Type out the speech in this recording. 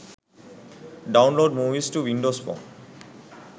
download movies to windows phone